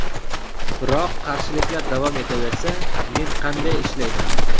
Biroq qarshiliklar davom etaversa, men qanday ishlayman?